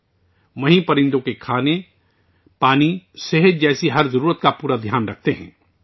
اس کے ساتھ ہی وہ پرندوں کی خوراک، پانی، صحت جیسی ہر ضرورت کا پورا خیال رکھتے ہیں